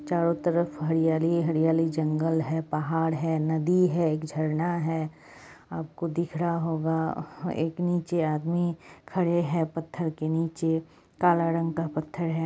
चारों तरफ हरियाली ही हरियाली जंगल है पहाड़ हैनदी हैएक झरना है आपको दिख रहा होगा एक नीचे आदमी खड़े हैं पत्थर के नीचे काला रंग का पत्थर है ।